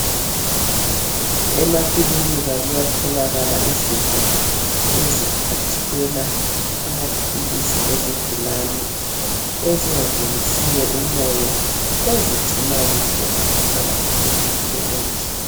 Emakilinika kuyatholakala izinto eziphathela amaphilisi ezigulani, ezingangenisiyo umoya, ezigcina kuhle amaphilisi lomuthi.